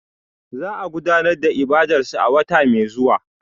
Za a gudanar da ibadarsu a wata mai zuwa